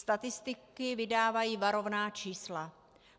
Statistiky vydávají varovná čísla.